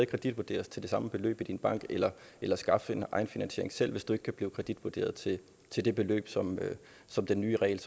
kreditvurderes til det samme beløb i din bank eller eller skaffe finansiering selv hvis du ikke kan blive kreditvurderet til det beløb som som den nye regel